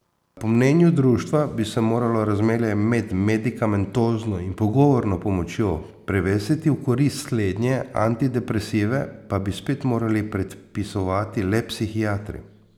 Po mnenju društva bi se moralo razmerje med medikamentozno in pogovorno pomočjo prevesiti v korist slednje, antidepresive pa bi spet morali predpisovati le psihiatri.